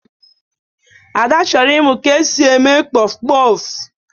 Ada chọrọ ịmụ ka e si eme kpọfụ kpọfụ.